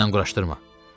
Özündən quraşdırma.